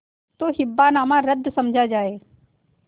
तो हिब्बानामा रद्द समझा जाय